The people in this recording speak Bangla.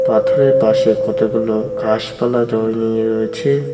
পাথরের পাশে কতগুলো ঘাসপালা জমিয়ে রয়েছে।